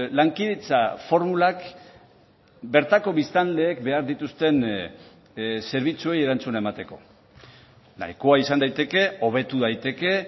lankidetza formulak bertako biztanleek behar dituzten zerbitzuei erantzuna emateko nahikoa izan daiteke hobetu daiteke